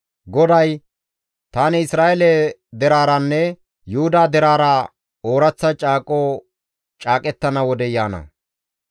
GODAY, «Tani Isra7eele deraaranne Yuhuda deraara ooraththa caaqo caaqettana wodey yaana.